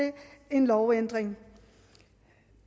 en lovændring